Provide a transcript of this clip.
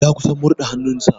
Ya kusan murɗa hannun sa.